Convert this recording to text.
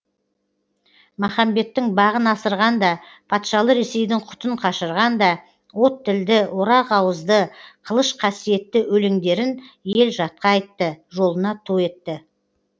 махамбеттің бағын асырған да патшалы ресейдің құтын қашырған да от тілді орақ ауызды қылыш қасиетті өлеңдерін ел жатқа айтты жолына ту етті